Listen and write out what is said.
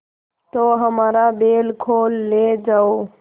तो हमारा बैल खोल ले जाओ